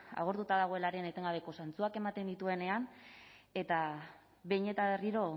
agortuta dagoenaren etengabeko zantzuak ematen dituenean eta behin eta berriro